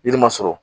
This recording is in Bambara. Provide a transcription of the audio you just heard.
Yiri ma sɔrɔ